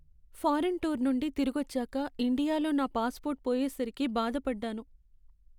Foreign tour నుండి తిరిగొచ్చాక ఇండియాలో నా పాస్పోర్ట్ పోయేసరికి బాధపడ్డాను.